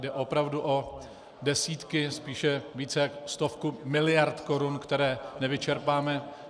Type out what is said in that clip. Jde opravdu o desítky, spíše více jak stovku miliard korun, které nevyčerpáme.